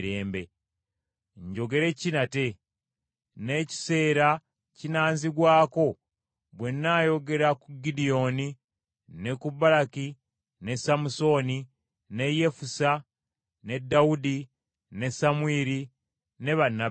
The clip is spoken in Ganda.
Njogere ki nate? N’ekiseera kinaanzigwako bwe nnaayogera ku Gidyoni, ne ku Baraki, ne Samusooni, ne Yefusa, ne Dawudi, ne Samwiri ne bannabbi abalala,